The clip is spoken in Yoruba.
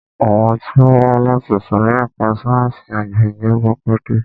Àwọn tí ó wá láti ìsòrí ẹka ẹ̀kọ́ sáyẹnsì àgbẹ̀ ni o kọ́kọ́ dé.